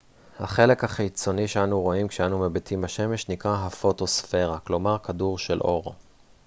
החלק החיצוני שאנו רואים כשאנו מביטים בשמש נקרא הפוטוספירה כלומר כדור של אור